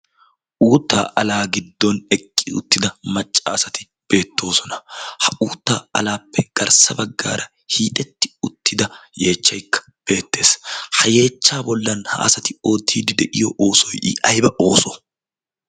uuttaa alaa giddon eqqi uttida maccaasati beettoosona. ha uuttaa alaappe garssa baggaara hiixetti uttida yeechchaikka beettees. ha yeechchaa bollan ha asati oottiiddi de'iyo oosoy ayba ooso?